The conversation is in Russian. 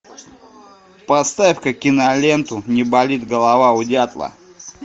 поставь ка киноленту не болит голова у дятла